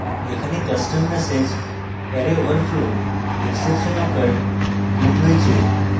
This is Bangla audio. এখানে custom message array overflow exception occurred printing করছি